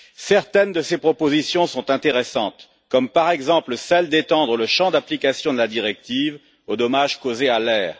Certaines de ces propositions sont intéressantes, par exemple celle d'étendre le champ d'application de la directive aux dommages causés à l'air.